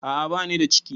A a banida ciki.